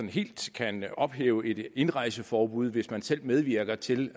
helt kan ophæve et indrejseforbud hvis man selv medvirker til